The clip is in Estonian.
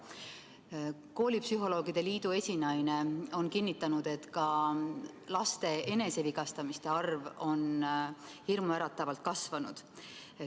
Eesti Koolipsühholoogide Ühingu esinaine on kinnitanud, et ka laste enesevigastamisjuhtumite arv on hirmuäratavalt kasvanud.